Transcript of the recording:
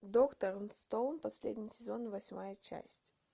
доктор стоун последний сезон восьмая часть